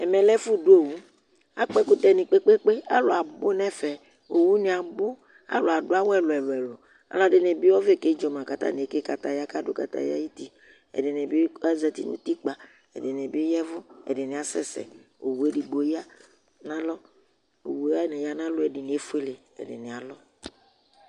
̵ɛmɛlɛ efʊ du owu akpo ekutɛni kpe kpe alʊ abu nɛfɛ owunɩ abʊ alu aduawu ɛlu ɛlu olɔdinɩbi ɔvɛ koedzoma ku atani eke kataya ka dʊ kataya awuti ɛdinibɩ azɛti nu itikpa idini yavu edinibi azɛzɛ uwu edigbo yanu alʊ